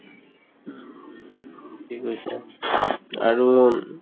থিকে কৈছে আৰু উম